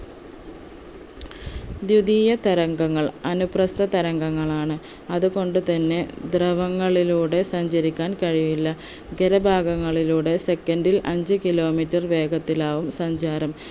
ധ്വിതീയ തരംഗങ്ങൾ അനുപ്രസ്ഥ തരംഗങ്ങളാണ് അതുകൊണ്ട് തന്നെ ദ്രവങ്ങളിലൂടെ സഞ്ചരിക്കാൻ കഴിയില്ല ഖരഭാഗങ്ങളിലൂടെ second ൽ അഞ്ച്‌ kilometre വേഗത്തിലാവും സഞ്ചാരം